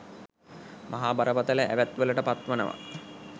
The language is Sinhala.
මහා බරපතල ඇවැත්වලට පත්වනවා.